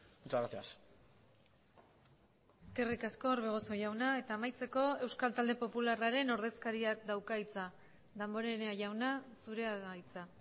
muchas gracias eskerrik asko orbegozo jauna eta amaitzeko euskal talde popularraren ordezkariak dauka hitza damborenea jauna zurea da hitza